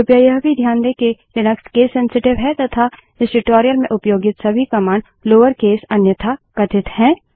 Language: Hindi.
कृपया यह भी ध्यान दें कि लिनक्स केस सेंसिटिव है तथा इस ट्यूटोरियल में उपयोगित सभी कमांड लोअर केस अन्यथा कथित हैं